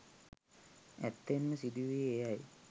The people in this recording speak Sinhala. ඇත්තෙන්ම සිදු වූයේ එයයි.